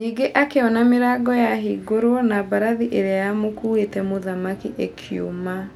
Nyingĩ akĩona mĩrango ya hingũrwo na mbarathi ĩrĩa ya mũkuĩte mũthamaki ĩkiuma.